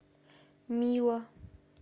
мило